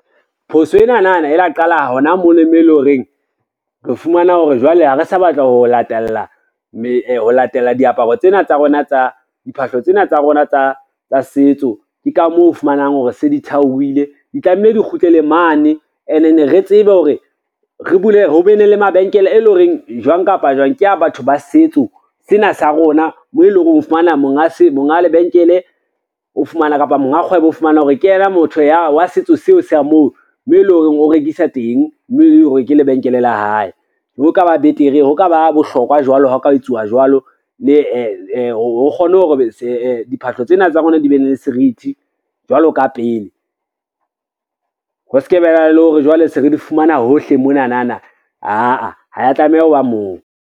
Phoso enana na e la qala hona mona moo e lo reng re fumana hore jwale ha re sa batla ho latella diphahlo tsena tsa rona tsa setso. Ke ka moo o fumanang hore se di thaohile, di tlameha di kgutlele mane and then re tsebe hore ho be ne le mabenkele, e lo reng jwang kapa jwang ke ya batho ba setso sena sa rona, mo e lo reng o fumana monga lebenkele o fumana kapa monga kgwebo o fumana hore ke yena motho wa setso seo sa moo mo e lo reng o rekisa teng, moo e lo reng ke lebenkele la hae. Ho ka ba betere, ha ka ba bohlokwa jwalo ha o ka etsuwa jwalo, mme ho re kgone hore diphahlo tsena tsa rona di be ne le serithi jwalo ka pele, ho ska ba na le hore jwale se re di fumana hohle monanana, aa ha ya tlameha ho ba moo.